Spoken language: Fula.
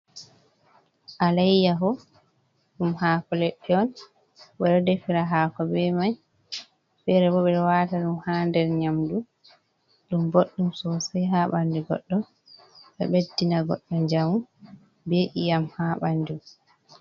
Alayyaho, ɗum haako leɗɗe on ɓe ɗo defira haako bee mai, feere bo ɓe ɗo waata ɗum haa nder nyaamdu, ɗum boɗɗum sosai haa banndu goɗɗo, ɗo ɓeddina goɗɗo njamu bee iyam haa banndu.